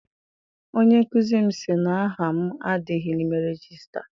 Onye nkụzi m si na aha m adịghị n'ime regista.